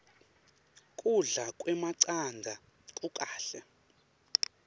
kudla kwemacandza kukahle